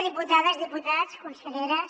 diputades diputats conselleres